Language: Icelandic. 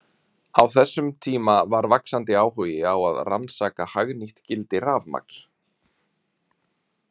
Á þessum tíma var vaxandi áhugi á að rannsaka hagnýtt gildi rafmagns.